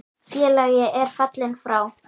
Félagi er fallinn frá.